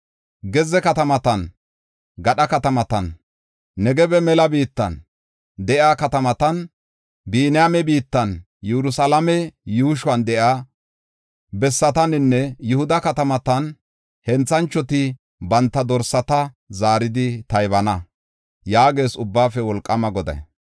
Gezze katamatan, gadha katamatan, Negebe mela biittan de7iya katamatan, Biniyaame biittan, Yerusalaame yuushuwan de7iya bessataninne Yihuda katamatan henthanchoti banta dorsata zaaridi taybana” yaagees Ubbaafe Wolqaama Goday.